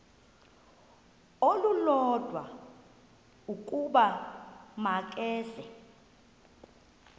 olulodwa ukuba makeze